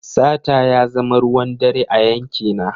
Sata ya zama ruwan dare a yankina.